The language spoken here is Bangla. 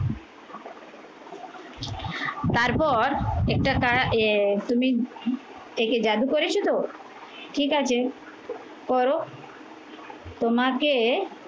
তারপর একটা এ তুমি একে জাদু করেছো তো ঠিক আছে, করো তোমাকে